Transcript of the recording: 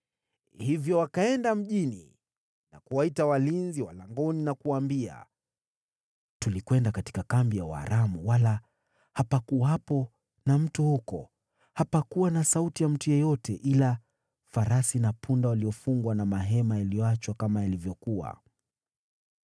Hivyo wakaenda mjini na kuwaita walinzi wa langoni, wakawaambia, “Tulikwenda katika kambi ya Waaramu lakini hapakuwepo na mtu huko, hata sauti ya mtu yeyote, ila farasi na punda waliofungwa na mahema yaliyoachwa kama yalivyokuwa.”